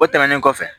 O tɛmɛnen kɔfɛ